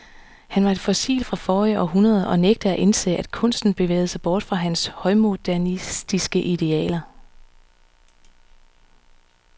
Han var et fossil fra forrige århundrede og nægtede at indse, at kunsten bevægede sig bort fra hans højmodernistiske idealer.